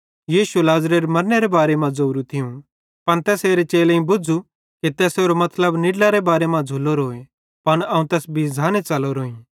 यीशुए लाज़रेरे मरनेरे बारे मां ज़ोरू थियूं पन तैसेरे चेलेईं बुझ़ु कि तैसेरो मतलब निड्लारे बारे मां झ़़ुलोरोए पन अवं तैस बीझ़ाने च़लोरोईं